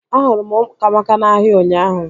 Ahụrụ m Ụkamaka na-ahịa ụnyaahụ